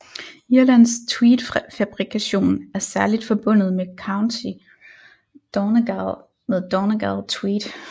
Irlands tweedfabrikation er særligt forbundet med County Donegal med Donegal Tweed